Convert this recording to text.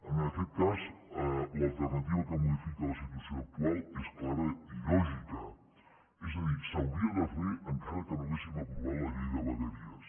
en aquest cas l’alternativa que modifica la situació actual és clara i lògica és a dir s’hauria de fer encara que no haguéssim aprovat la llei de vegueries